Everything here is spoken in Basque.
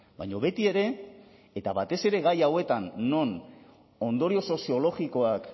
baina betiere eta batez ere gai hauetan non ondorio soziologikoak